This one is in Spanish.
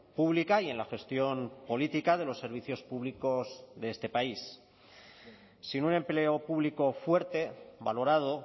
pública y en la gestión política de los servicios públicos de este país sin un empleo público fuerte valorado